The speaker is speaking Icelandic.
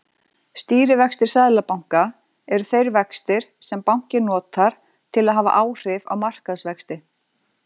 Stýrivextir seðlabanka eru þeir vextir sem bankinn notar til að hafa áhrif á markaðsvexti.